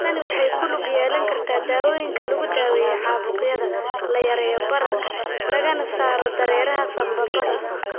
Tani waxay ku lug yeelan kartaa dawooyinka lagu daweeyo caabuqyada, la yareeyo bararka, lagana saaro dareeraha sambabada.